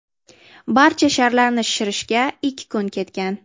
Barcha sharlarni shishirishga ikki kun ketgan.